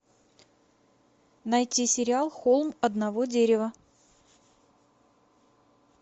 найти сериал холм одного дерева